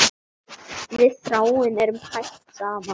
Við Þráinn eru hætt saman.